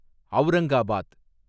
Aurangabad